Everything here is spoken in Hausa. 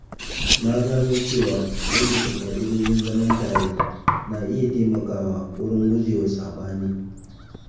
Na gano cewa rubuta ƙa'idojin zaman tare na iya taimakawa wajen guje wa saɓani